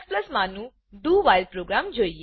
while do while program જોઈએ